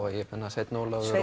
sveinn Ólafur